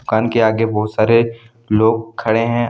दुकान के आगे बहुत सारे लोग खड़े हैं।